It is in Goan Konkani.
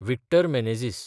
विक्टर मेनेझीस